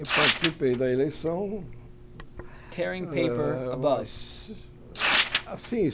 Eu participei da eleição, ah mas assim